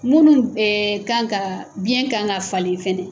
Munnu kan kaa biyɛn kan ka falen fɛnɛ